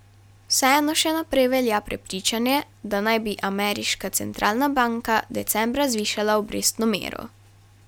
Vseeno še naprej velja prepričanje, da naj bi ameriška centralna banka decembra zvišala obrestno mero.